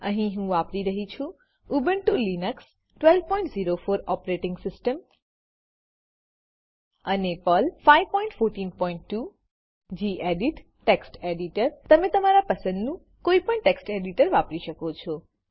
અહીહું વાપરી રહ્યી છું ઉબુન્ટુ લીનક્સ 1204 ઓપરેટીંગ સીસ્ટમ અને પર્લ 5142 ગેડિટ ટેક્સ્ટ એડીટર તમે તમારા પસંદનું કોઈપણ ટેક્સ્ટ એડીટર વાપરી શકો છો